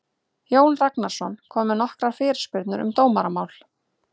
Jón Ragnarsson kom með nokkrar fyrirspurnir um dómaramál.